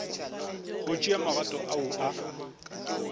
go tšea magato ao a